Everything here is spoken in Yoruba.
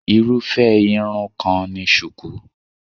Irúfé Irun kan ni shuku.